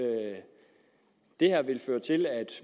at det her vil føre til at